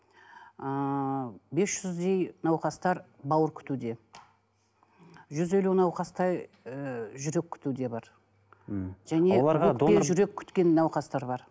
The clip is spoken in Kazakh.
ыыы бес жүздей науқастар бауыр күтуде жүз елу науқастай ыыы жүрек күтуде бар мхм және жүрек күткен науқастар бар